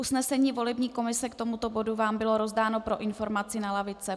Usnesení volební komise k tomuto bodu vám bylo rozdáno pro informaci na lavice.